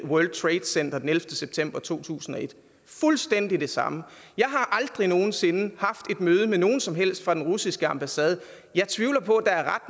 i world trade center den ellevte september to tusind og et fuldstændig det samme jeg har aldrig nogen sinde haft et møde med nogen som helst fra den russiske ambassade jeg tvivler på at der er